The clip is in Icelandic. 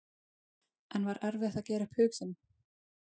En var erfitt að gera upp hug sinn?